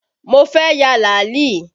Mo fẹ́ ya làálì